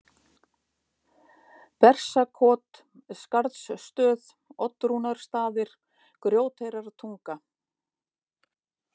Bersakot, Skarðsstöð, Oddrúnarstaðir, Grjóteyrartunga